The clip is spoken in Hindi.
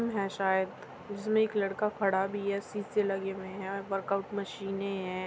जिम है शायद जिसमे एक लड़का खड़ा भी है। शीशे लगे हुई है। वर्कआउट मशीने हैं।